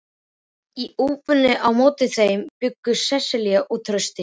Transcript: Í íbúðinni á móti þeim bjuggu Sesselía og Trausti.